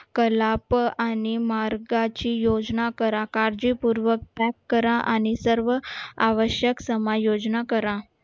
कलाप आणि मार्गाची योजना करा काळजीपूर्वक pack करा आणि सर्व आवश्यक कमा योजना करा